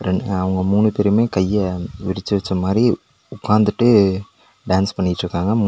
ரெண் அவங்க மூணு பேருமே கைய விரிச்சு வச்ச மாரி உக்காந்துட்டு டான்ஸ் பண்ணிட்ருக்காங்க மூணு.